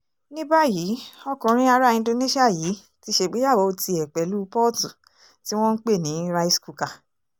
ní báyìí ọkùnrin ará indonesia yìí ti ṣègbéyàwó tiẹ̀ pẹ̀lú pọ́ọ̀tù tí wọ́n ń pè ní rice cooker